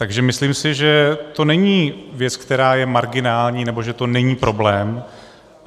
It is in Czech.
Takže si myslím, že to není věc, která je marginální, nebo že to není problém.